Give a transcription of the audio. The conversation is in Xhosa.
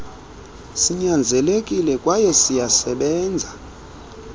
sinyanzelekile kwayw siyasebenza